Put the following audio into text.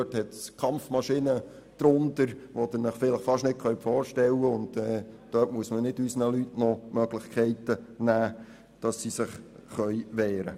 Vielmehr gibt es darunter Kampfmaschinen, wie Sie es sich kaum vorstellen können, und dort darf man unseren Leuten nicht die Möglichkeit nehmen, sich zu wehren.